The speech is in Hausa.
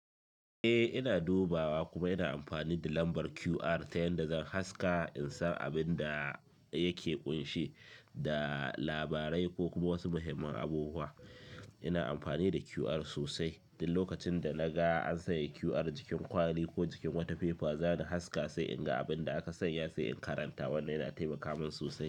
Eh ina dubawa kuma ina amfani da lambar QR ta yanda zan haska in san abin da yake ƙunshe da labarai ko kuma wasu muhimman abubuwa. Ina amfani da QR sosai. Duk lokacin da naga an sanya QR jikin kwali ko jikin wata fefa, zani haska sai in ga abin da aka sanya sai in karanta. Wannan yana taimaka min sosai.